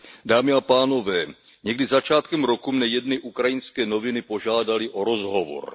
Dámy a pánové, někdy začátkem roku mne jedny ukrajinské noviny požádaly o rozhovor.